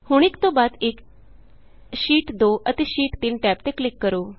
ਹੁਣ ਇਕ ਤੋਂ ਬਾਅਦ ਇਕ ਸ਼ੀਟ 2 ਅਤੇ ਸ਼ੀਟ 3 ਟੈਬ ਤੇ ਕਲਿਕ ਕਰੋ